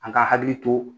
An ka hakili to